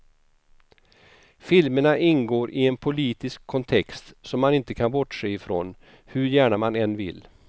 Filmerna ingår i en politisk kontext som man inte kan bortse ifrån, hur gärna man än vill.